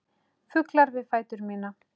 Fuglar við fætur mína.